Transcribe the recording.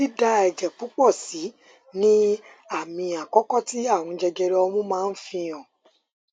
dída ẹjẹ púpọ sì ni àmì àkọkọ tí ààrùn jẹjẹrẹ ọmú máa ń fi hàn fi hàn